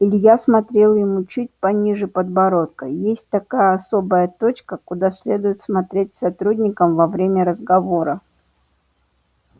илья смотрел ему чуть пониже подбородка есть такая особая точка куда следует смотреть сотрудникам во время разговора